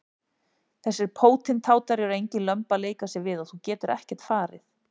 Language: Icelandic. Þessir pótintátar eru engin lömb að leika sér við og þú getur ekkert farið.